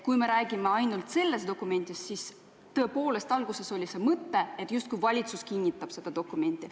Kui me räägime ainult sellest dokumendist, siis tõepoolest oli alguses mõte, justkui valitsus kinnitab selle dokumendi.